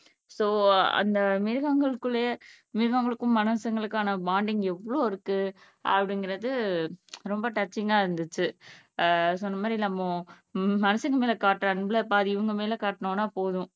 so, அந்த மிருகங்களுக்குள்ளயே மிருகங்களுக்கும் மனுசங்களுக்கான bonding எவ்வளவு இருக்கு அப்படிங்கிறது ரொம்ப டச்சிங்கா இருந்துச்சு சொன்னமாதிரி நம்ம மனுசங்க மேல காட்டுற அன்புல பாதி இவங்க மேல காட்டினோம்னா போதும்